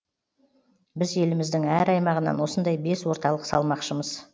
біз еліміздің әр аймағынан осындай бес орталық салмақшымыз